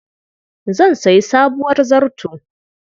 Zan sayi sabuwar zarto.